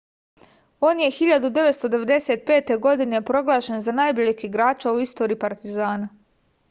on je 1995. godine proglašen za najboljeg igrača u istoriji partizana